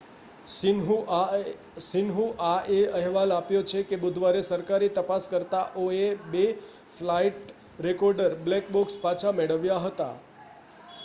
"શિન્હુઆએ અહેવાલ આપ્યો છે કે બુધવારે સરકારી તપાસકર્તાઓએ બે ફ્લાઇટ રેકોર્ડર "બ્લેક બૉક્સ" પાછા મેળવ્યા હતા.